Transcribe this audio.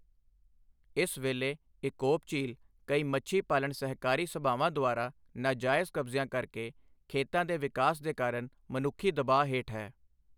ਇਸ ਵੇਲੇ ਇਕੋਪ ਝੀਲ ਕਈ ਮੱਛੀ ਪਾਲਣ ਸਹਿਕਾਰੀ ਸਭਾਵਾਂ ਦੁਆਰਾ ਨਾਜਾਇਜ਼ ਕਬਜ਼ਿਆ ਕਰਕੇ, ਖੇਤਾਂ ਦੇ ਵਿਕਾਸ ਦੇ ਕਾਰਨ, ਮਨੁੱਖੀ ਦਬਾਅ ਹੇਠ ਹੈ।